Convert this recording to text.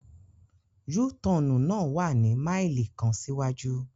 U-Tọnu na wa ni maili kan siwaju